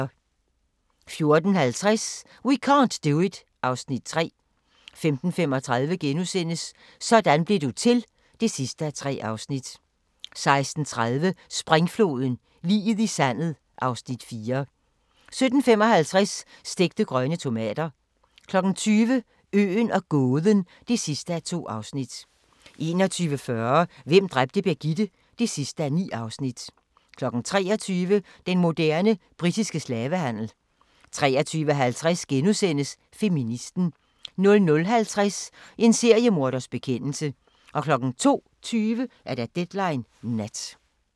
14:50: We can't do it (Afs. 3) 15:35: Sådan blev du til (3:3)* 16:30: Springfloden – liget i sandet (Afs. 4) 17:55: Stegte grønne tomater 20:00: Øen og gåden (2:2) 21:40: Hvem dræbte Birgitte? (9:9) 23:00: Den moderne britiske slavehandel 23:50: Feministen * 00:50: En seriemorders bekendelser 02:20: Deadline Nat